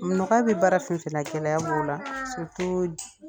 Nɔgɔya bi baara fɛn fɛn na gɛlɛya b'o la